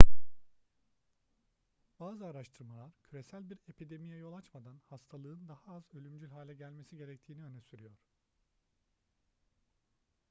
bazı araştırmalar küresel bir epidemiye yol açmadan hastalığın daha az ölümcül hale gelmesi gerektiğini öne sürüyor